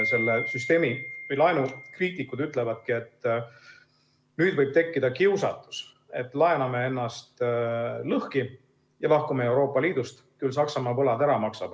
Selle süsteemi või laenu kriitikud ütlevadki, et nüüd võib tekkida kiusatus, et laename ennast lõhki ja lahkume Euroopa Liidust, küll Saksamaa võlad ära maksab.